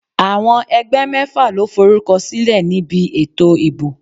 Àwọn ẹgbẹ́ mẹ́fà lo forúkọ sílẹ̀ ní bi ètò ìbò.